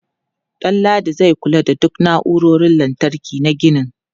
Danladi zai kula da duk na'urorin lantarki na ginin.